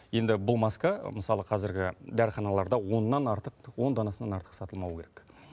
енді бұл маска мысалы қазіргі дәріханаларда оннан артық он данасынан артық сатылмауы керек